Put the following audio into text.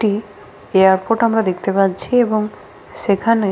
একটি এয়ারপোর্ট আমরা দেখতে পাচ্ছি এবং সেখানে--